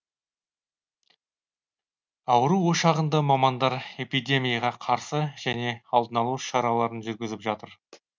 ауру ошағында мамандар эпидемияға қарсы және алдын алу шараларын жүргізіп жатыр